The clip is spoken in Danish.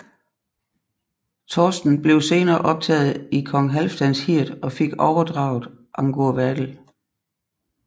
Thorsten blev senere optaget i kong Halfdans hird og fik overdraget Angurvadel